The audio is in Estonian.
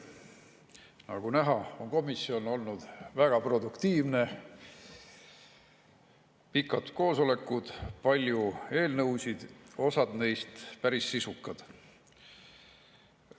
Nagu näha, on komisjon olnud väga produktiivne: pikad koosolekud, palju eelnõusid, osa neist päris sisukad.